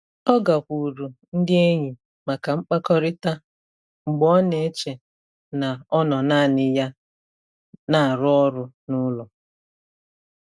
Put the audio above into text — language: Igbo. Ọ gakwuuru ndị enyi maka mkpakọrịta mgbe ọ na-eche na ọ nọ naanị ya na-arụ ọrụ n'ụlọ.